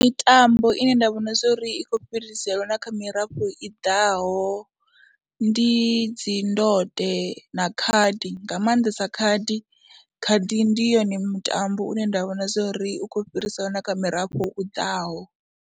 Mitambo ine nda vhona zwo ri i khou fhiriselwa kha mirafho i ḓaho ndi dzi ndode na khadi nga maanḓesa khadi, khadi ndi yone mutambo une nda vhona zwo ri u khou fhiriselwa na kha murafho u ḓaho.